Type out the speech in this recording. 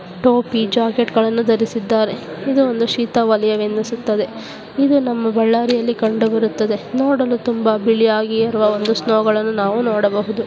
ಟೋಪಿ ಜಾಕೆಟ್ ಗಳನ್ನು ಧರಿಸಿದ್ದಾರೆ ಇದು ಒಂದು ಶೀತಲವಲಯ ಎನಿಸುತ್ತದೆ ಇದು ನಮ್ಮ ಬಳ್ಳಾರಿಯಲ್ಲಿ ಕಂಡುಬರುತ್ತದೆ ನೋಡಲು ತುಂಬಾ ಬಿಳಿಯಾಗಿರುವ ಒಂದು ಸ್ನೋ ಗಳನ್ನು ನೋಡಬಹುದು .